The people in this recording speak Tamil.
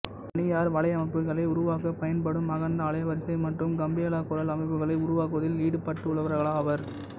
தனியார் வலையமைப்புகளை உருவாக்கப் பயன்படும் அகன்ற அலைவரிசை மற்றும் கம்பியில்லாக் குரல் அமைப்புகளை உருவாக்குவதில் ஈடுபட்டுள்ளவர்களாவர்